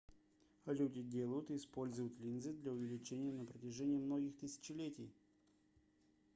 люди делают и используют линзы для увеличения на протяжении многих тысячелетий